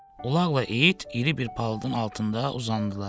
Ulaqla it iri bir palıdın altında uzandılar.